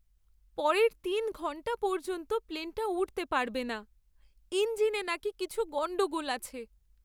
পরের তিন ঘণ্টা পর্যন্ত প্লেনটা উড়তে পারবে না। ইঞ্জিনে নাকি কিছু গণ্ডগোল আছে।